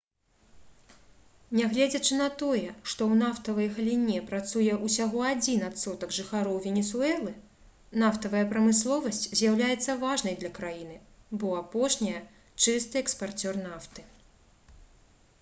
нягледзячы на тое што ў нафтавай галіне працуе ўсяго адзін адсотак жыхароў венесуэлы нафтавая прамысловасць з'яўляецца важнай для краіны бо апошняя чысты экспарцёр нафты